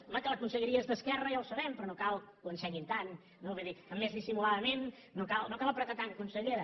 home que la conselleria és d’esquerra ja ho sabem però no cal que ho ensenyin tant no vull dir més dissimuladament no cal apretar tant consellera